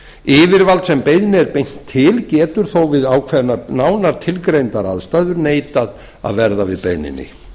yfirvald sem beiðni er beint til getur þó við ákveðnar nánar tilgreindar aðstæður neitað að verða við beiðninni